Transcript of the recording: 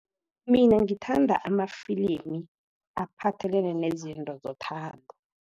Mina ngithanda amafilimi aphathelene nezinto zethando.